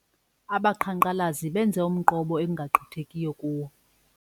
Abaqhankqalazi benze umqobo ekungagqithekiyo kuwo.